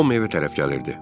Tom evə tərəf gəlirdi.